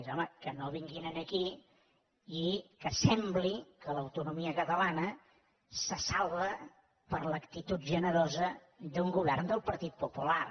home que no vinguin aquí i que sembli que l’autonomia catalana se salva per l’actitud generosa d’un govern del partit popular